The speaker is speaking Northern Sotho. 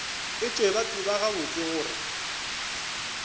etšwe ba tseba gabotse gore